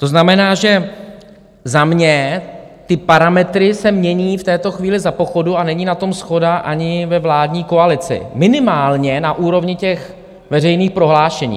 To znamená, že za mě ty parametry se mění v této chvíli za pochodu, a není na tom shoda ani ve vládní koalici, minimálně na úrovni těch veřejných prohlášení.